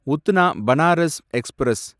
Udhna Banaras express